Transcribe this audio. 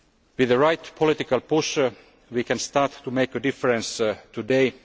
With the right political pressure, we can start to make a difference today.